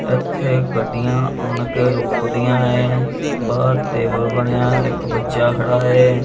ਏੱਥੇ ਗੱਡੀਆਂ ਆਣਕੇ ਰੁੱਕ ਦਿਆਂ ਹੈਂ ਬਾਹਰ ਟੇਬਲ ਬਣਿਆ ਹੈ ਇੱਕ ਬੱਚਾ ਖੜਾ ਹੈ।